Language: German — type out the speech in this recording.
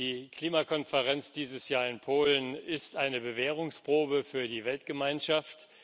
Die Klimakonferenz dieses Jahr in Polen ist eine Bewährungsprobe für die Weltgemeinschaft.